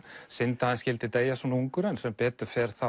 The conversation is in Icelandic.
synd að hann skyldi deyja svona ungur en sem betur fer